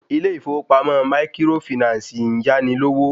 Ilé ìfowópamọ́ maikirofìnáǹsì ń yáni lówó